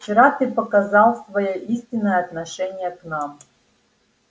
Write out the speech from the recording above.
вчера ты показал своё истинное отношение к нам